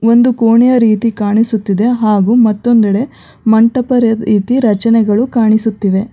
ಒಂದು ಕೋಣೆಯ ರೀತಿ ಕಾಣಿಸುತ್ತಿದೆ ಹಾಗು ಮತ್ತೊಂದೆಡೆ ಮಂಟಪದ ರೀತಿ ರಚನೆಗಳು ಕಾಣಿಸುತ್ತಿವೆ.